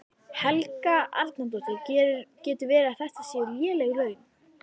Helga Arnardóttir: Getur verið að þetta séu léleg laun?